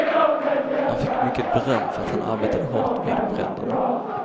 Han fick mycket beröm för att han arbetade hårt vid bränderna.